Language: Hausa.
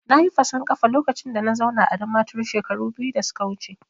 Nayi fason kafa lokacin da na zauna a Damaturu shekaru biyu da suka wuce